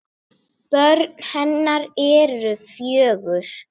Börn hennar eru fjögur.